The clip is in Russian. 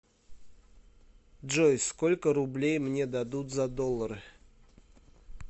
джой сколько рублей мне дадут за доллары